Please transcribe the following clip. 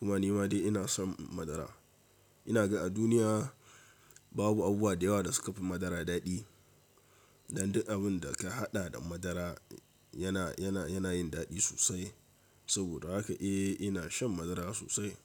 Kuma ni ma dai ina son madara. Ina ga a duniya babu abubuwa da yawa da suka fi madara daɗi. Dan duk abin da ka haɗa da madara yana, yana, yana yin daɗi sosai. Saboda haka eh ina shan madara sosai.